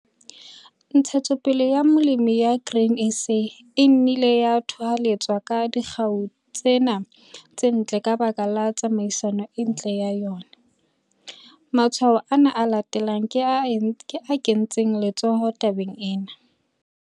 Ntshetsopele ya Molemi ya Grain SA e nnile ya thoholetswa ka dikgau tsena tse ntle ka baka la tsamaiso e ntle ya yona. Matshwao ana a latelang a kentse letsoho tabeng ena.